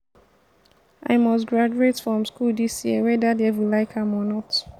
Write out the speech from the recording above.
i must graduate from school dis year whether devil like am or not